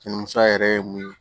Jɛnini sa yɛrɛ ye mun ye